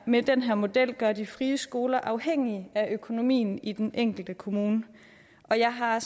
med den her model gøre de frie skoler afhængige af økonomien i den enkelte kommune og jeg har